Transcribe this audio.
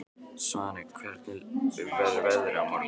Svaney, hvernig verður veðrið á morgun?